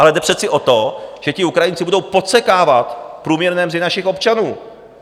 Ale jde přece o to, že ti Ukrajinci budou podsekávat průměrné mzdy našich občanů.